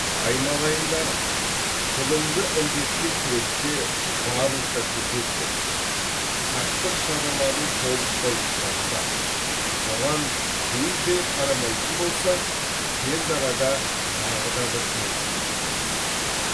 айналайындарым зұлымды індетке күресте барынша төтеп берсек сақтық шараларын толықтай ұстансақ бұған бей жай қарамайтын болсақ тез арада тағы да бір жеңіске жетеміз